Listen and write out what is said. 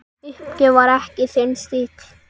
Uppgjöf var ekki þinn stíll.